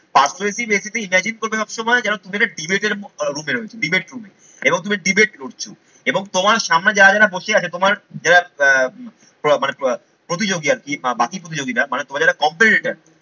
persutive essay তে imagine করবে সবসময় যেন তুমি একটা debate room এ রয়েছো। Debate room এ এবং তুমি debate করছো এবং তোমার সামনে যারা যারা বসে আছে তোমার যারা আহ মানে প্রতিযোগী আর কি বা বাকি প্রতিযোগিতা, মানে তোমাদের যারা competitor